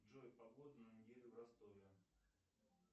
джой погода на неделю в ростове